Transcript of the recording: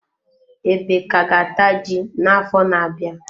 Ebe ka ga-ata ji na-afo na-abịa.